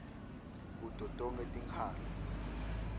kuto tonkhe tinkhalo